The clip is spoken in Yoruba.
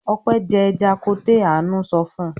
"Ope jẹ ẹja koté!!" Àánú sọ fún un.